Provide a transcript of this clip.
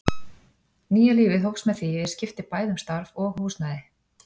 Nýja lífið hófst með því að ég skipti bæði um starf og húsnæði.